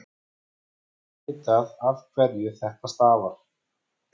ekki er vitað afhverju þetta stafar